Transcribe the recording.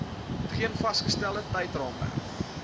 geen vasgestelde tydsraamwerk